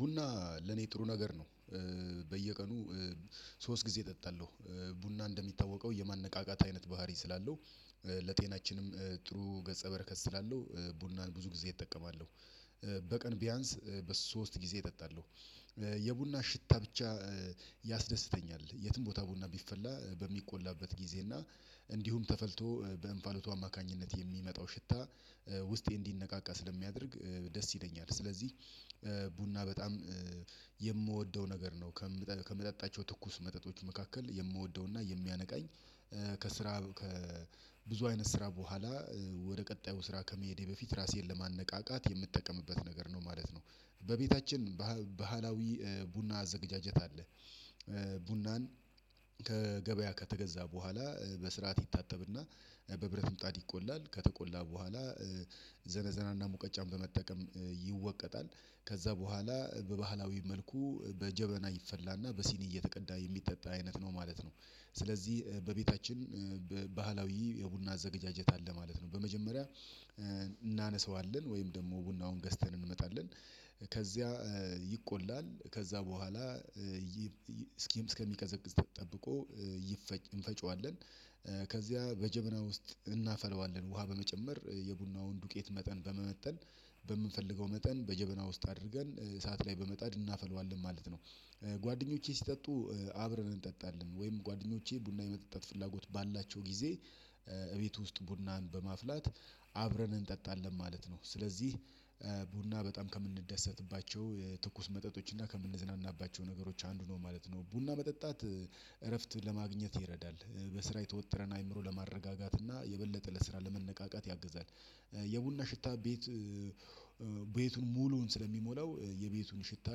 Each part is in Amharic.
ቡና ለኔ ጥሩ ነገር ነው። በየቀኑ ሶስት ጊዜ እጠጣለሁ። ቡና እንደሚታወቀው የማነቃቃት አይነት ባህሪ ስላለው። ለጤናችንም ጥሩ ገጸ በረከት ስላለሁ። ቡናን ብዙ ጊዜ እጠቀማለሁ። በቀን ቢያንስ በሶስት ጊዜ እጠጣለሁ። የቡና ሽታ ብቻ። ያስደስተኛል የትም ቦታ ቡና ቢፈላ በሚቆላበት ጊዜ እና እንዲሁም ተፈልቶ በእንፋሎቱ አማካኝነት የሚመጣው ሽታ ውስጤ እንዲነቃቃ ስለሚያደርግ ደስ ይለኛል። ስለዚህ ቡና በጣም የምወደው ነገር ነው። ከምጠጣቸው ትኩስ መጠጦች መካከል የምወደውና የሚያነቃኝ። ከስራ ከብዙ አይነት ስራ በኋላ ወደ ቀጣዩ ስራ ከመሄዴ በፊት ራሴን ለማነቃቃት የምጠቀምበት ነገር ነው ማለት ነው። በቤታችን ባህላዊ ቡና አዘገጃጀት አለ። ቡናን ከገበያ ከተገዛ በኋላ በስርዓት ይታጠብና በብረት ምጣድ ይቆላል ከተቆላ በኋላ ዘነዘናና ሙቀጫን በመጠቀም ይወቀጣል። ከዛ በኋላ በባህላዊ መልኩ በጀበና ይፈላና በሲኒ እየተቀዳ የሚጠጣ አይነት ነው ማለት ነው። ስለዚህ በቤታችን ባህላዊ የቡና አዘገጃጀት አለ ማለት ነው። በመጀመሪያ እናነሳዋለን ወይም ደግሞ ቡናውን ገዝተን እንመጣለን። ከዚያ ይቆላል ከዛ በኋላ። እስኪም እስከሚቀዘቅዝ ተጠብቆ ይፈጭ እንፈጭዋለን። ከዚያ በጀበና ውስጥ እናፈላዋለን ውሃ በመጨመር የቡናውን ዱቄት መጠን በመመጠን በምንፈልገው መጠን በጀበና ውስጥ አድርገን እሳት ላይ በመጣድ እናፈለዋለን ማለት ነው። ጓደኞቼ ሲጠጡ አብረን እንጠጣለን ወይም ጓደኞቼ ቡና የመጠጣት ፍላጎት ባላቸው ጊዜ። እቤት ውስጥ ቡናን በማፍላት አብረን እንጠጣለን ማለት ነው። ስለዚህ ቡና በጣም ከምንደሰትባቸው የትኩስ መጠጦች እና ከምንዝናናባቸው ነገሮች አንዱ ነው ማለት ነው። ቡና መጠጣት እረፍት ለማግኘት ይረዳል። በስራ የተወጠረን አይምሮ ለማረጋጋት እና የበለጠ ለስራ ለመነቃቃት ያግዛል። የቡና ሽታ ቤት ቤቱን ሙሉውን ስለሚሞላው የቤቱን ሽታ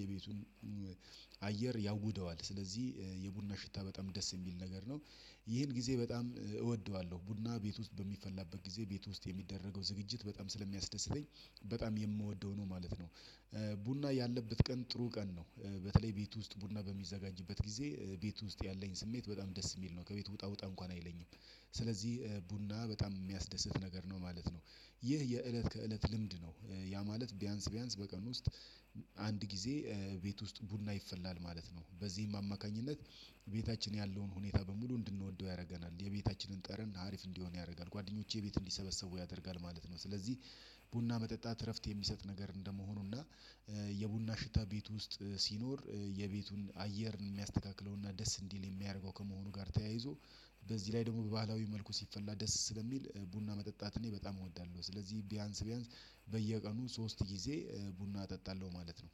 የቤቱን አየር ያውደዋል። ስለዚህ የቡና ሽታ በጣም ደስ የሚል ነገር ነው። ይሄን ጊዜ በጣም እወደዋለሁ ቡና ቤት ውስጥ በሚፈላበት ጊዜ ቤት ውስጥ የሚደረገው ዝግጅት በጣም ስለሚያስደስተኝ በጣም የምወደው ነው ማለት ነው። ቡና ያለበት ቀን ጥሩ ቀን ነው። በተለይ ቤት ውስጥ ቡና በሚዘጋጅበት ጊዜ ቤት ውስጥ ያለኝ ስሜት በጣም ደስ የሚል ነው ከቤት ውጣ ውጣ እንኳን አይለኝም። ስለዚህ ቡና በጣም የሚያስደስት ነገር ነው ማለት ነው። ይህ የእለት ከእለት ልምድ ነው። ያ ማለት ቢያንስ ቢያንስ በቀን ውስጥ አንድ ጊዜ ቤት ውስጥ ቡና ይፈላል ማለት ነው። በዚህም አማካኝነት ቤታችን ያለውን ሁኔታ በሙሉ እንድንወደው ያደርገናል የቤታችንን ጠርን አሪፍ እንዲሆን ያደርጋል። ጓደኞቼ ቤት እንዲሰበሰቡ ያደርጋል ማለት ነው። ስለዚህ ቡና መጠጣት እረፍት የሚሰጥ ነገር እንደመሆኑና የቡና ሽታ ቤት ውስጥ ሲኖር የቤቱን አየርን የሚያስተካክለውና ደስ እንዲል የሚያደርገው ከመሆኑ ጋር ተያይዞ። በዚህ ላይ ደግሞ በባህላዊ መልኩ ሲፈላ ደስ ስለሚል ቡና መጠጣት እኔ በጣም እወዳለሁ። ስለዚህ ቢያንስ ቢያንስ በየቀኑ ሶስት ጊዜ ቡና እጠጣለሁ ማለት ነው።